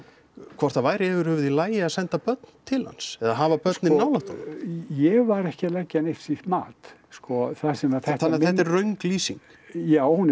hvort það væri yfir höfuð í lagi að senda börn til hans eða hafa börnin nálægt honum ég var ekki að leggja neitt slíkt mat sko það sem að þetta þannig að þetta er röng lýsing já hún